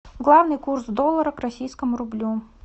главный курс доллара к российскому рублю